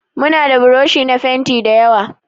Mu na da buroshi na fenti dayawa.